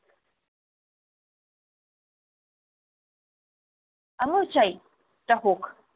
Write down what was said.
আমিও চাই এটা হোক।